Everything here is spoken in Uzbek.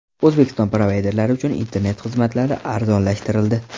O‘zbekiston provayderlari uchun internet xizmatlari arzonlashtirildi.